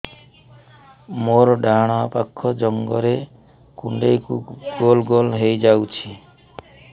ମୋର ଡାହାଣ ପାଖ ଜଙ୍ଘରେ କୁଣ୍ଡେଇ ଗୋଲ ଗୋଲ ହେଇଯାଉଛି